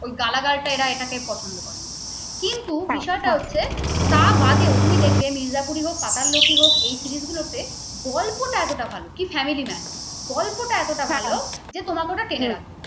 ওই গালাগালটা এরা এটাকে পছন্দ করে না কিন্তু বিষয় টা হচ্ছে তা বাদেও তুমি দেখবে মির্জাপুর ই হোক পাতাললোক ই হোক এই series গুলো তে গল্পটা এতটা ভালো কি family man গল্পটা এতটা ভালো যে তোমাকে ওটা টেনে রাখবে।